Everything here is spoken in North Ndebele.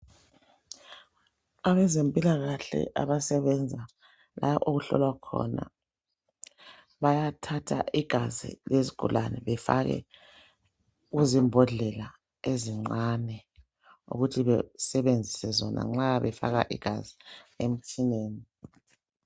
Abezempilakahle abasebenza la okuhlolwa khona, bayathatha igazi lezigulane befake kuzimbodlela ezincane. Ukuthi besebenzise zona nxa befaka igazi emtshineni.